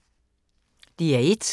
DR1